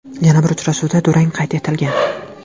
Yana bir uchrashuvda durang qayd etilgan.